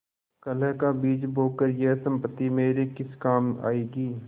कलह का बीज बोकर यह सम्पत्ति मेरे किस काम आयेगी